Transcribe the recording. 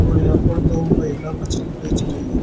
और यहां पर दो महिला मछली बेच रही हैं।